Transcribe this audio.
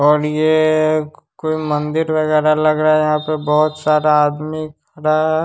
और ये कोई मंदिर वेगेरा लग रहा है यहां पे बहोत सारा आदमी खड़ा है।